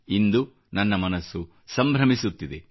ಇಂದು ನನ್ನ ಮನಸ್ಸು ಸಂಭ್ರಮಿಸುತ್ತಿದೆ